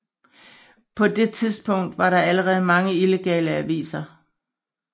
På det tidspunkt var der allerede mange illegale aviser